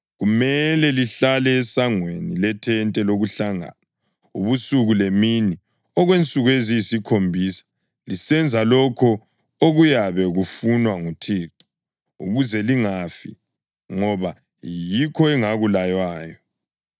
Kumele lihlale esangweni lethente lokuhlangana ubusuku lemini, okwensuku eziyisikhombisa lisenza lokho okuyabe kufunwa nguThixo ukuze lingafi, ngoba yikho engakulaywayo.”